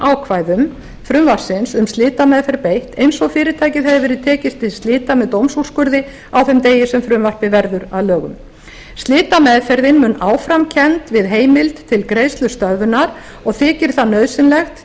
ákvæðum frumvarpsins um slitameðferð beitt eins og fyrirtækið hefur verið tekið til slita með dómsúrskurði á þeim degi sem frumvarpið verður að lögum slitameðferðin mun áfram kennd við heimild til greiðslustöðvunar og þykir það nauðsynlegt